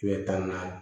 Kile tan naani